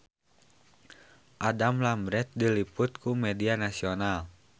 Adam Lambert diliput ku media nasional